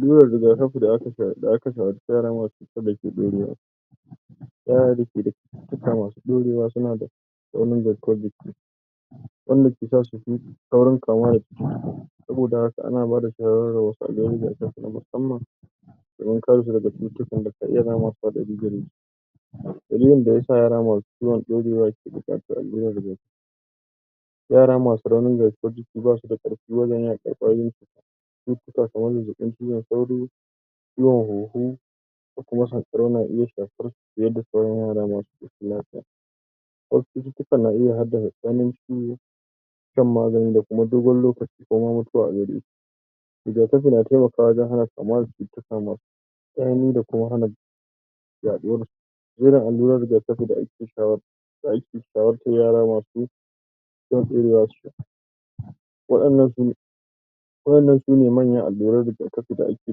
Alluran riga kafi da akeso ama yara masu cututtuka da ke ɗaukewa, yara dake cututtuka masu daurewa suna da da wannan garkuwa jiki wannan cutace ake saurin kamuwa dashi saboda haka ana bada shawaran a dungayin riga kafi musamman domin karesu daga cututtukan da ka iya zama hatsari dalilin da yasa yara masu cuwon ɗaurewa buƙatan alluran riga kafi yara masu raunin garkuwan jiki basu da karfi wajen yaƙan ƙwayoyin cututtuka kaman zazzabin ciwon sauro ciwon hunhu da kuma sanƙarau na iya shafarsu fiye da sauran yara masu lafiya wasu cututtukan na iya haɗa ganinsu shan magani da kuma dogon lokaci kaman mutuwa riga kafi na temakawa wajan na temakawa wajan hana kamuwa da cututtka me tsanani da kuma hana ya ɗuwansu yin alluran riga kafi da ake sha wartan sha wartan yara masu? wayannan sune wayannan sune mayan alluran riga kafi da ake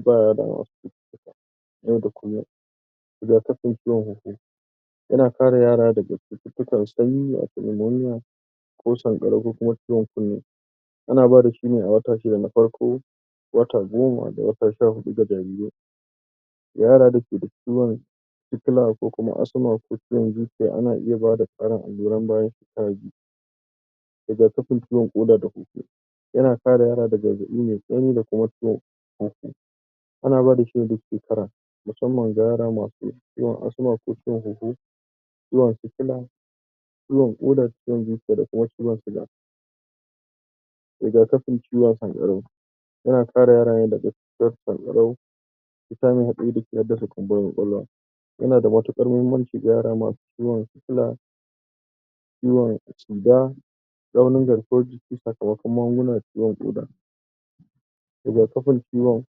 bama yara yau da kullun riga kafin ciwon hunhu yana kare yara daga cututtukan sanyi lamoniya ko san ƙaro ko kuma ciwon sanyi ana bada shine a wata shidda na farko da wata goma da wata sha huɗu ga jariri, yara dake da ciwon sikila ko asma ko ciwon zuciya ana iya bada tsarin alluran da zasuyi shekara biyu riga kafin ciwon ƙoda da hunhu yana kare yara daga zazzabi mai tsanani da kuma ciwon hunhu ana ba da shine duk shekara musamman ga yara masu ciwo asma ko ciwon hunhu ciwon sikila ciwon ƙoda ciwon zuciya d kuma ciwon suga riga kafin ciwon san ƙarau yana kare yara ne daga cutan sanƙarau yana kare su daga hassada kunburin ƙwaƙolwa yanada matuƙan mahimmanci musamma yara masu sikila ciwon sida raunin garkuwan jiki saka makon maguguna ciwon ƙoda, riga kafin ciwon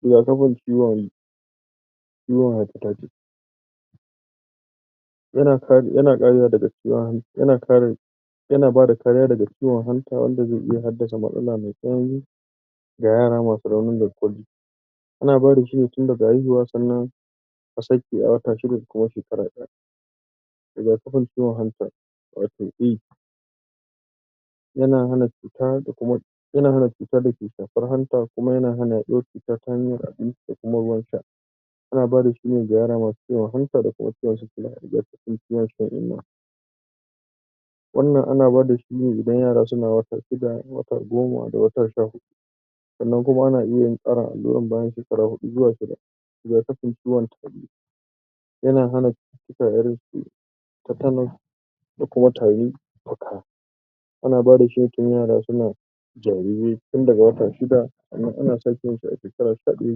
riga kafin ciwon ciwon haifa tayi tis yana kariya dag ciwon yana bada kariya daga ciwon hanta wanda be iya haddasa matsala me tsanani ga yara masu raunin garkuwan jiki ana badashi ne tin daga haihuwa sannan asake a wata shiida da kuma shekara ɗaya riga kafin ciwon hanta wato eh yana hana cuta dake shafar hanta kuma yana hana yaɗuwan cuta ta hanya abinci da kuma ruwa sha ana badashi ga yara masu ciwon hanta da kuma ciwon sikila da ciwon shan inna wannan ana bada shine idan yara suna wata shida wata goma da wata sha huɗu sannan kuma ana iyayin karin alluran bayan shekara huɗu zuwa shida riga kafin ciwon tari yana hana irinsu te te nos da kuma tarin fuƙa anaba dashi tun yara suna jarire tun daga wata shidda ana sake yinsu a shekara shida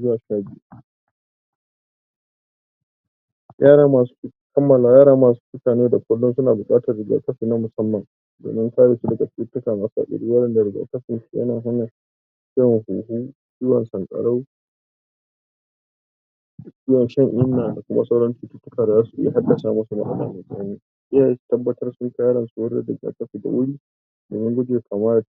zuwa sha biyu yara masu, yara masu cutaye da kullun suna buƙatan riga kafi na musamma da karesu daga cututtuka masu hatsari yara da riga kafi yana hana ciwon hunhu ciwon sanƙarau ciwon shan inna da kuma sauransu da kuma sauran cututtuka da zasu iya haddasa masu matsala me tsaunani iyaye su tabbatar sunkai yaransu wurin riga kafi da wuri damun guje kamuwa